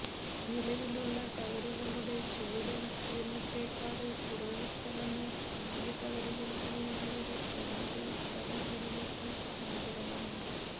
നിലവിലുള്ള ടവറുകളുടെ ചുവട് വിസ്തീര്ണ്ണത്തേക്കാള് കുറവു സ്ഥലമേ പുതിയ ടവറുകള്ക്ക് വേണ്ടി വരൂ എന്നത് സ്ഥലം ഉടമകള്ക്ക് സഹായകരമാണ്